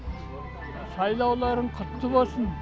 сайлауларың құтты болсын